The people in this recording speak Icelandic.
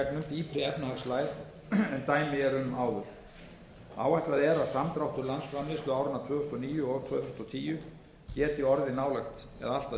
en dæmi eru um áður áætlað er að samdráttur landsframleiðslu áranna tvö þúsund og níu og tvö þúsund og tíu geti orðið allt að